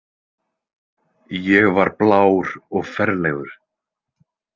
Ég var blár og ferlegur.